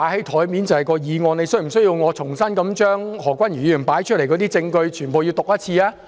他是否需要我重新將何君堯議員列出的證據全部讀一次？